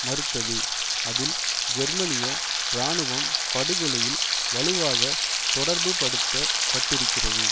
மறுத்தது அதில் ஜெர்மனிய இராணுவம் படுகொலையில் வலுவாக தொடர்புபடுத்தபட்டிருக்கிறது